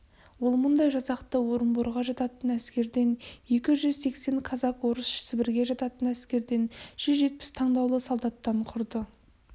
ол мұндай жасақты орынборға жататын әскерден екі жүз сексен казак-орыс сібірге жататын әскерден жүз жетпіс таңдаулы солдаттан құрды